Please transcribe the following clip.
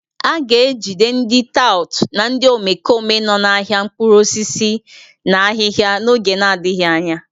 A ga-ejide ndị tout na ndị omekome nọ n'ahịa mkpụrụ osisi na ahịhịa n'oge adịghị anya